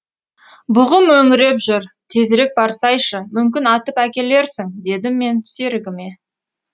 бұғы мөңіреп жүр тезірек барсайшы мүмкін атып әкелерсің дедім мен серігіме